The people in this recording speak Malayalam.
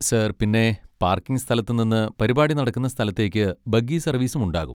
സാർ പിന്നെ പാർക്കിംഗ് സ്ഥലത്തുനിന്ന് പരിപാടി നടക്കുന്ന സ്ഥലത്തേക്ക് ബഗ്ഗി സർവീസും ഉണ്ടാകും.